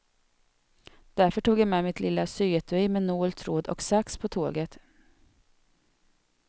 Därför tog jag med mitt lilla syetui med nål, tråd och sax på tåget.